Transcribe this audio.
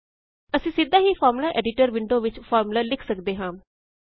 ਅਸੀਂ ਸਿੱਧਾ ਹੀ ਫ਼ਾਰਮੂਲਾ ਐਡੀਟਰ ਵਿੰਡੋ ਵਿੱਚ ਫ਼ਾਰਮੂਲਾ ਲਿਖ ਸਕਦੇ ਹਾਂ